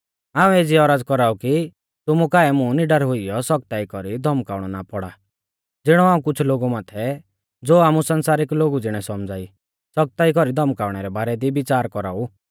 हाऊं एज़ी औरज़ कौराऊ कि तुमु काऐ मुं निडर हुईयौ सौख्ताई कौरी धौमकाउणौ ना पौड़ा ज़िणौ हाऊं कुछ़ लोगु माथै ज़ो आमु संसारिक लोगु ज़िणै सौमझ़ा ई सौख्ताई कौरी धौमकाउणै रै बारै दी बिच़ार कौराऊ